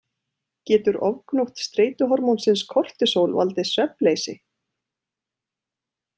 Getur ofgnótt streituhormónsins kortisól valdið svefnleysi?